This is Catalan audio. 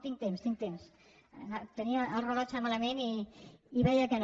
tinc temps tinc temps tenia el rellotge malament i veia que no